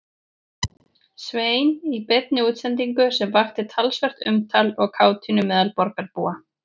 Svein í beinni útsendingu sem vakti talsvert umtal og kátínu meðal borgarbúa.